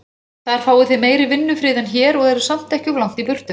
Þar fáið þið meiri vinnufrið en hér, og eruð samt ekki of langt í burtu.